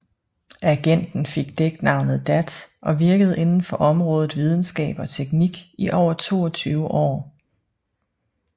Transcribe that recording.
Agenten fik dæknavnet Dat og virkede inden for området videnskab og teknik i over 22 år